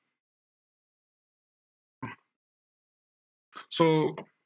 so